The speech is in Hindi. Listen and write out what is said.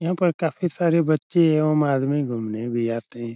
यहाँ पर काफी सारे बच्चे एवं आदमी घुमने भी आते हैं।